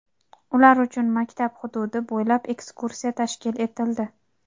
ular uchun maktab hududi bo‘ylab ekskursiya tashkil etildi.